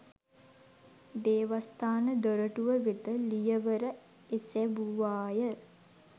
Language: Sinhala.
දේවස්ථාන දොරටුව වෙත ලියවර එසැවුවාය